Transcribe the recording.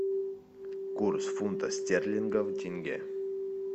курс фунта стерлингов в тенге